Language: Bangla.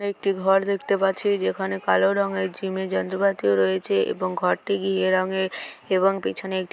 একটি ঘর দেখতে পাচ্ছি যেখানে কালো রঙের জিমের যন্ত্রপাতি রয়েছে এবং ঘরটি ঘিয়ে রঙের-- এবং পেছনে একটি--